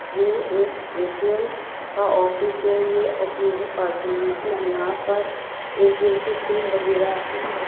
ये एक एटेल का ऑफिस है ये पार्टनर मतलब यहां पर ऐटेल की सिम वगैरा --